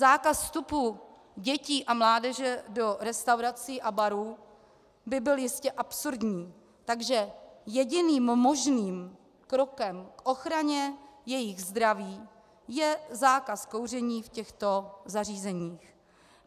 Zákaz vstupu dětí a mládeže do restaurací a barů by byl jistě absurdní, takže jediným možným krokem k ochraně jejich zdraví je zákaz kouření v těchto zařízeních.